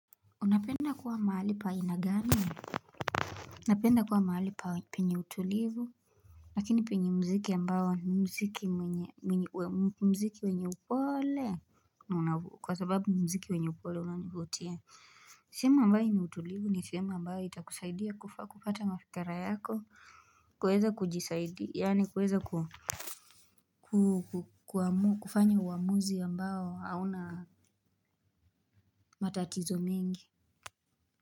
Unapenda kuwa mahali pa aina gani? Napenda kuwa mahali pa penye utulivu Lakini penye mziki ambayo ni mziki wenye upoole, kwa sababu ni mziki wenye upole unavutia. Sehemu ambayo ina utulivu ni sehemu ambayo itakusaidia kufaa kupata mafikra yako kuweza kujisaidia, yaani kuweza kufanya uamuzi ambayo hauna matatizo mengi.